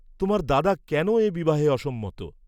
তোমার দাদা কেন এ বিবাহে অসম্মত?